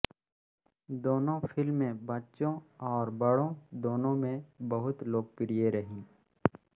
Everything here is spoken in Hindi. दोनों फ़िल्में बच्चों और बड़ों दोनों में बहुत लोकप्रिय रहीं